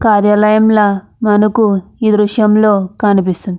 కార్యాలయంల మనకు ఈ దృశ్యంలో కనిపిస్తుంది.